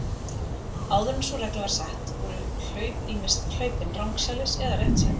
Áður en sú regla var sett voru hlaup ýmist hlaupin rangsælis eða réttsælis.